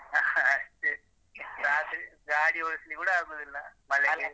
ಅಷ್ಟೇ ರಾತ್ರಿ ಗಾಡಿ ಓಡಿಸ್ಲಿಕ್ಕೆ ಕೂಡ ಆಗುದಿಲ್ಲ ಮಳೆ ಬೇರೆ.